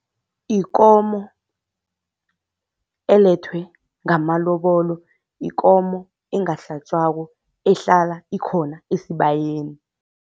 Ikomo elethwe ngamalobolo, yikomo engahlatjwako ehlala ikhona esibayeni.